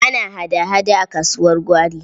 Ana hada-hada a kasuwar gwari.